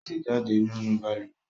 O ti jáde nínú balùwẹ́